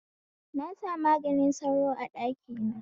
Na sa maganin sauro a ɗaki na